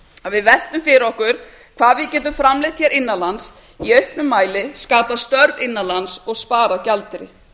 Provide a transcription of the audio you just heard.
að við veltum fyrir okkur hvað við getum framleitt hér innan lands í auknum mæli skapað störf innan lands og sparað gjaldeyri